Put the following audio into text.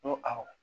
N ko awɔ